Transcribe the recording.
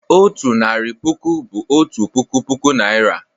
Otu narị puku bụ "otu puku puku Naịra."